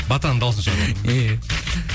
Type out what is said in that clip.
батаның дауысын шығарватырмын иә